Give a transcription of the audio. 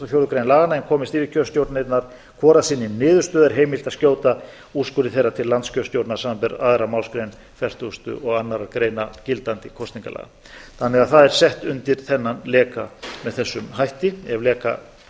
fjórðu grein laganna en komist yfirkjörstjórnirnar hvor að sinni niðurstöðu er heimilt að skjóta úrskurði þeirra til landskjörstjórnar samanber aðra málsgrein fertugustu og annarrar greinar gildandi kosningalaga það er því sett undir þennan leka með þessum hætti ef leka